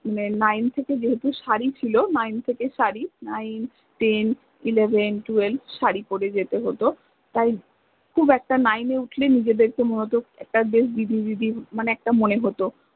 nine থেকে যেহেতু সারি ছিল nine থেকে সারি nineteneleventwelve সারি পরে যেতে হত তাই খুব একটা nine এ উথ্লে নিজেদেরকে মনে হত একটা বেশ দিদি মানে একটা মনে হত